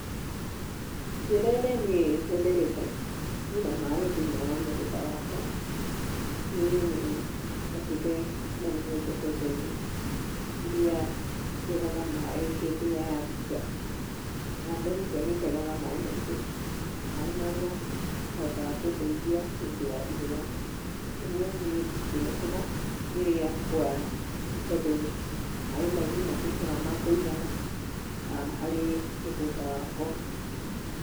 Njĩra ĩrĩa niĩ hũthĩrĩte kũiga maĩ thĩinĩ wa mũgũnda wakwa, niĩ nĩ njakĩte kana nĩ nyenjete ndemu irĩa citegaga maĩ hĩndĩ ya mbura. Na ndemu icio nĩ itegaga maĩ maingĩ, maĩ marĩa mahotaga kũndeithia hĩndĩ ya riũwa. Ũguo niĩ ndĩthĩnĩkaga rĩrĩa kwara nĩ tondũ maĩ mau nĩ matuĩkaga ma kũigana harĩ mũgũnda wakwa.